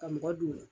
Ka mɔgɔ don